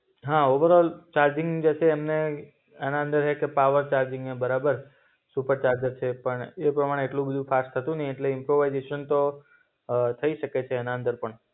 હા overall charging જેસે અમને એના અંદર હૈ કે પાવર ચરિંગ હૈ બરાબર. સુપર ચાર્જર છે પણ એ પ્રમાણે એટલું બધું ફાસ્ટ થતું નઈ એટલે ઈમ્પ્રોવાઇઝેશન તો અ થઇ શકે છે એના અંદર પણ.